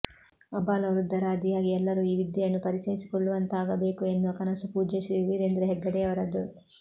ಅಬಾಲವೃದ್ಧರಾದಿಯಾಗಿ ಎಲ್ಲರೂ ಈ ವಿದ್ಯೆಯನ್ನು ಪರಿಚಯಿಸಿಕೊಳ್ಳುವಂತಾಗಬೇಕು ಎನ್ನುವ ಕನಸು ಪೂಜ್ಯ ಶ್ರೀ ವೀರೇಂದ್ರ ಹಗ್ಗಡೆಯವರದು